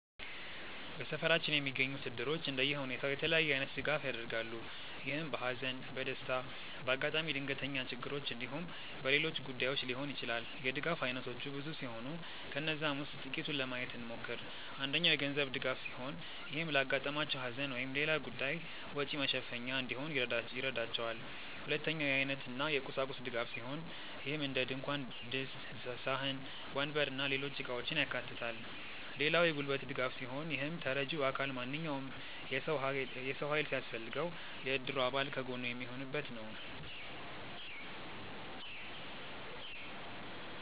በሰፈራችን የሚገኙት እድሮች እንደየሁኔታው የተለያየ አይነት ድጋፍ ያደርጋሉ። ይህም በሃዘን፣ በደስታ፣ በአጋጣሚ ድንገተኛ ችግሮች እንዲሁም በሌሎች ጉዳዮች ሊሆን ይችላል። የድጋፍ አይነቶቹ ብዙ ሲሆኑ ከነዛም ውስጥ ጥቂቱን ለማየት እንሞክር። አንደኛው የገንዘብ ድጋፍ ሲሆን ይህም ለአጋጠማቸው ሃዘን ወይም ሌላ ጉዳይ ወጪ መሸፈኛ እንዲሆን ይረዳቸዋል። ሁለተኛው የአይነት እና የቁሳቁስ ድጋፍ ሲሆን ይህም እንደድንኳን ድስት፣ ሳህን፣ ወንበር እና ሌሎች እቃውችን ያካታል። ሌላው የጉልበት ድጋፍ ሲሆን ይህም ተረጂው አካል ማንኛውም የሰው ሃይል ሲያስፈልገው የእድሩ አባል ከጎኑ የሚሆኑበት ነው።